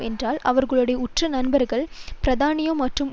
என்றால் அவர்களுடைய உற்ற நண்பர்கள் பிரித்தானியா மற்றும்